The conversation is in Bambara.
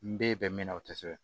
N b'i bɛn min na o te sɛbɛn